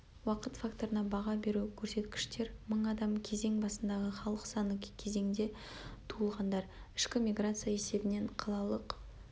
уақыт факторына баға беру көрсеткіштермың адам кезең басындағы халық саны кезеңде туылғандар ішкі миграция есебінен қалалық